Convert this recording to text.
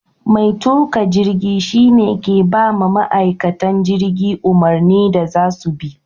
Mai tuka jirgi shi ne ke ba ma ma'aikatan jirgi umarnin da za su bi.